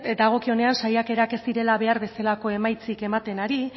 dagokionean saiakerak ez direla behar bezalako emaitzarik ematen ari